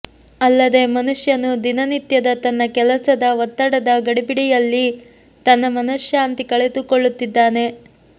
ಅಲ್ಲದೆ ಮನುಷ್ಯನು ದಿನನಿತ್ಯದ ತನ್ನ ಕೆಲಸದ ಒತ್ತಡದ ಗಡಿಬಿಡಿಯಲ್ಲಿ ತನ್ನ ಮನಶಾಂತಿ ಕಳೆದುಕೊಳ್ಳುತ್ತಿದ್ದಾನೆ